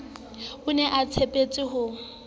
o ne a tshepetse ho